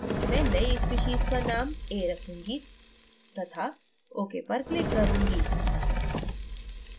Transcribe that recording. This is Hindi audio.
मैं नई species का name a रखूँगी तथा ok पर click करुँगी